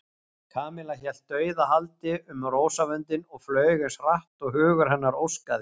Kamilla hélt dauðahaldi um rósavöndinn og flaug eins hratt og hugur hennar óskaði.